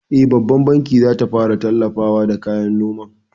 E, Babban banki zata fara tallafawa da kayan noman